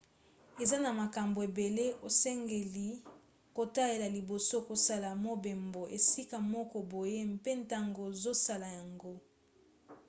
eza na makambo ebele osengeli kotalela liboso kosala mobembo esika moko boye mpe ntango ozosala yango